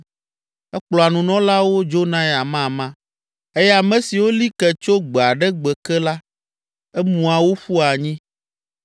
Ekplɔa nunɔlawo dzonae amama eye ame siwo li ke tso gbe aɖe gbe ke la emua wo ƒua anyi.